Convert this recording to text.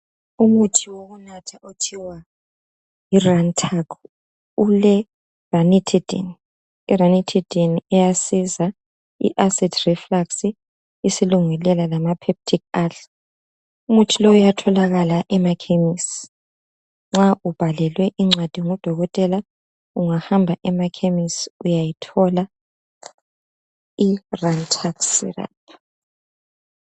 Umuthi wokunatha okuthiwa yirantac uleranitidine , iranitidine iyasiza nxa acidic refax, isilungulela lam. Umuthi lo uyatholakala emakhemesi, ungahamba emakhemesi nxa ubhalelwe incwadi ngudokotela uyawuthola irantac syrup